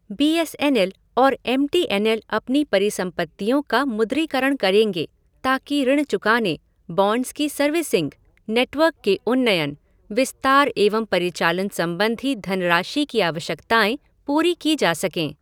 B S N L और M T N L अपनी परिसंपत्तियों का मुद्रीकरण करेंगे ताकि ऋण चुकाने, बॉन्ड्स की सर्विसिंग, नेटवर्क के उन्नयन, विस्तार एवं परिचालन संबंधी धनराशि की आवश्यकताएं पूरी की जा सके।